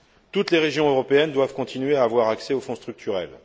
Toutes les régions européennes doivent continuer à avoir accès aux fonds structurels.